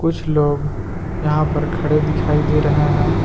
कुछ लोग यहां पर खड़े दिखाई दे रहे हैं।